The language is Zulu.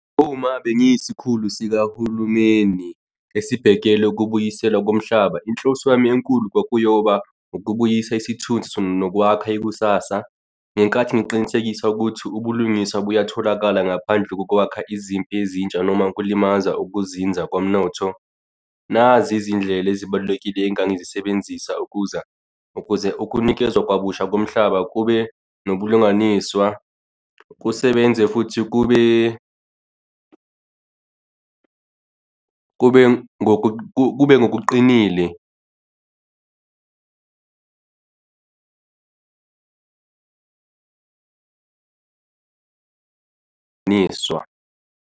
Uma bengiyisikhulu sikahulumeni esibhekele ukubuyiselwa komhlaba, inhloso yami enkulu kwakuyona ukubuyisa isithunzi nokwakha ikusasa, ngenkathi ngiqinisekise ukuthi ubulungiswa kuyatholakala ngaphandle kokwakha izimpi ezintsha noma ukulimaza, ukuzinza komnotho. Nazi izindlela ezibalulekile engangizisebenzisa ukuza, ukuze ukunikezwa kwabusha komhlaba kube nobulungiswa kusebenze futhi kube, kube, kube ngokuqinile ngiswa.